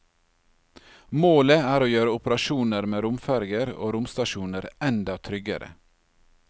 Målet er å gjøre operasjoner med romferger og romstasjoner enda tryggere.